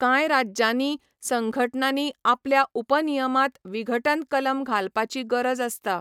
कांय राज्यांनी संघटनांनी आपल्या उपनियमांत विघटन कलम घालपाची गरज आसता.